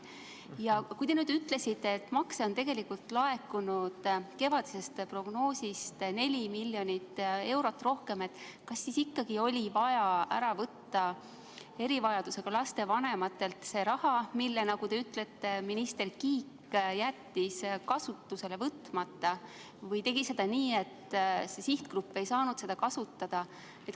Ja kui te ütlesite, et makse on tegelikult laekunud kevadisest prognoosist 4 miljonit eurot rohkem, siis kas ikkagi oli vaja ära võtta erivajadusega laste vanematelt see raha, mille, nagu te ütlete, minister Kiik jättis kasutusele võtmata või tegi seda nii, et sihtgrupp ei saanud seda kasutada.